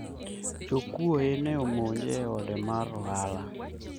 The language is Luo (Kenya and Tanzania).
jokuoye ne omonje e ode mar ohala